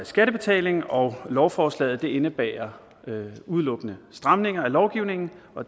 skattebetaling og lovforslaget indebærer udelukkende stramninger af lovgivningen